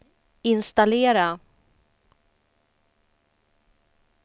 installera